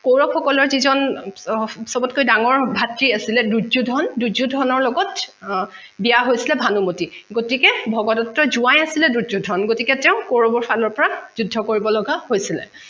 কৌৰৱৰ সকলৰ যিজন চবতকৈ ডাঙৰ ভাতৃ আছিলে দুয্যুধন, দুয্যুধনৰ লগত বিয়া হৈচিলে ভানুমতি গতিকে ভগদট্তৰ জোয়াই আছিলে দুয্যুধন গতিকে তেঁও কৌৰৱৰ ফালৰ পৰা যুদ্ধ কৰিব লগা হৈছিলে